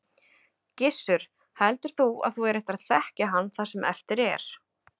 Gissur: Heldur þú að þú eigir eftir að þekkja hann það sem eftir er?